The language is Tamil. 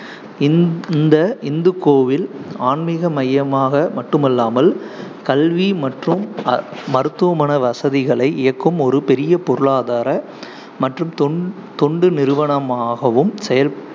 இந்த்~ இந்த இந்து கோவில் ஆன்மீக மையமாக மட்டுமல்லாமல், கல்வி மற்றும் மருத்துவமனை வசதிகளை இயக்கும் ஒரு பெரிய பொருளாதார மற்றும் தொ~ தொண்டு நிறுவனமாகவும் செயல்